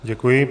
Děkuji.